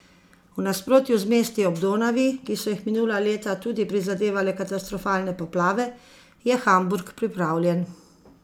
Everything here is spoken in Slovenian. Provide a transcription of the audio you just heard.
V nasprotju z mesti ob Donavi, ki so jih minula leta tudi prizadevale katastrofalne poplave, je Hamburg pripravljen.